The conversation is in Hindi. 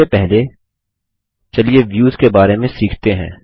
इससे पहले व्यूज के बारे में सीखते हैं